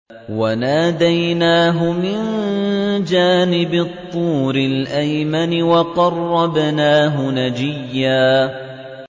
وَنَادَيْنَاهُ مِن جَانِبِ الطُّورِ الْأَيْمَنِ وَقَرَّبْنَاهُ نَجِيًّا